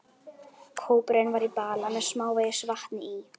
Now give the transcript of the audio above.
Kópurinn var í bala með smávegis vatni í.